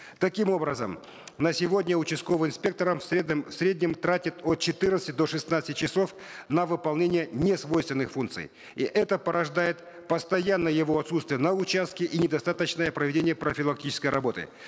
таким образом на сегодня участковый инспектор в среднем тратит от четырнадцати до шестнадцати часов на выполнение несвойственных функций и это порождает постоянное его отутствие на участке и недостаточное проведение профилактической работы